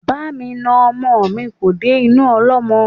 Bá mi na ọmọ ni kò dé inú ọlọ́mọ